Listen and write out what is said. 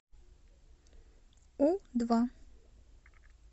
у два